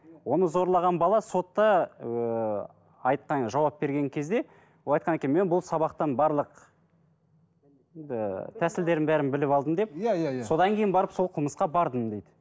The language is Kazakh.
оны зорлаған бала сотта ыыы айтқан жауап берген кезде ол айтқан екен мен бұл сабақтан барлық енді тәсілдерін бәрін біліп алдым деп иә иә иә содан кейін барып сол қылмысқа бардым дейді